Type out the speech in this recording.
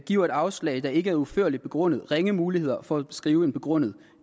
giver et afslag der ikke er udførligt begrundet ringe muligheder for at skrive en begrundet